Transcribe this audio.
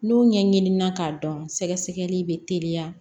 N'u ɲɛ ɲinini na k'a dɔn sɛgɛsɛgɛli bɛ teliya